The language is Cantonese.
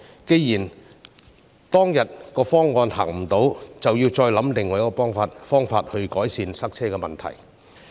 既然當天的方案行不通，便要再想其他方法改善塞車的問題。